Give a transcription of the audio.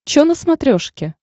че на смотрешке